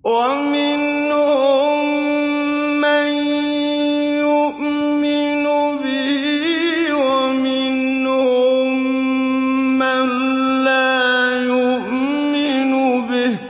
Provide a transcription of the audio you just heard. وَمِنْهُم مَّن يُؤْمِنُ بِهِ وَمِنْهُم مَّن لَّا يُؤْمِنُ بِهِ ۚ